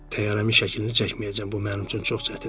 təyyarəmin şəklini çəkməyəcəm, bu mənim üçün çox çətindir.